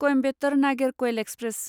Coimbatore Nagercoil express